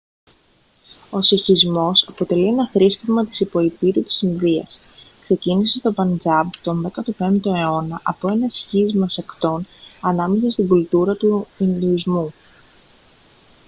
ο σιχισμός αποτελεί ένα θρήσκευμα της υποηπείρου της ινδίας ξεκίνησε στο παντζάμπ τον 15ο αιώνα από ένα σχίσμα σεκτών ανάμεσα στην κουλτούρα του ινδουισμού